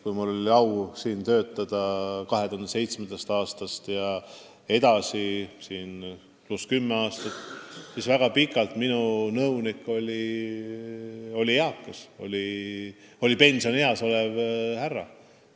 Kui mul oli au siin 2007. aastal tööle hakata, siis järgnenud kümne aasta jooksul oli väga pikalt minu nõunik pensionieas olev härra.